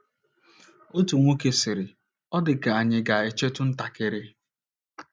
Otu nwoke sịrị, ‘Ọ dị ka ànyị ga - echetụ ntakịrị'.